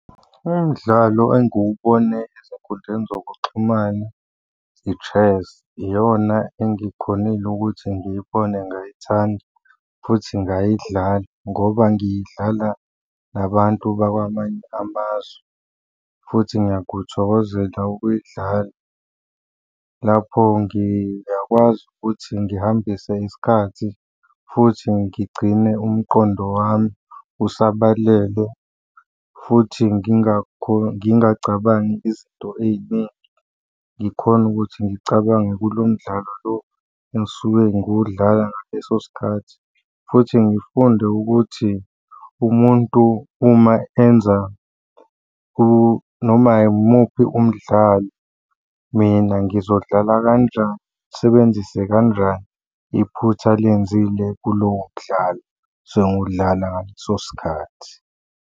Umdlalo engiwubona ezinkundleni zokuxhumana i-chess. Iyona engikhonile ukuthi ngiyibone ngayithanda, futhi ngayidlala, ngoba ngiyidlala nabantu bakwamanye amazwe, futhi ngiyakuthokozela ukuyidlala. Lapho ngiyakwazi ukuthi ngihambise isikhathi futhi ngigcine umqondo wami usabalele futhi ngingacabangi izinto ey'ningi. Ngikhone ukuthi ngicabange kulo mdlalo lo engisuke ngiwudlala ngaleso sikhathi, futhi ngifunde ukuthi umuntu uma enza noma yimuphi umdlalo mina ngizodlala kanjani, sebenzise kanjani iphutha alenzile kulowo mdlalo engisuke ngiwudlala ngaleso sikhathi.